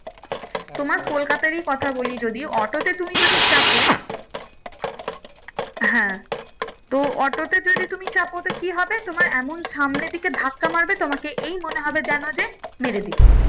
তোমার কলকাতারই কথা বলি যদি অটো তে তুমি যদি চাপো হ্যাঁ তো অটো তে যদি তুমি চাপো তো কি হবে তোমার এমন সামনের দিকে ধাক্কা মারবে তোমাকে এই মনে হবে যেন যে মেরে দিলো